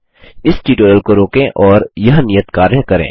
इस ट्यूटोरियल को रोकें और यह नियत कार्य करें